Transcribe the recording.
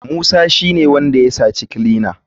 Musa shine wanda ya saci kilinan.